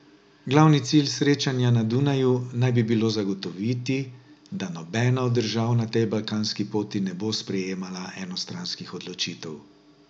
Glavni cilj srečanja na Dunaju naj bi bilo zagotoviti, da nobena od držav na tej balkanski poti ne bo sprejemala enostranskih odločitev.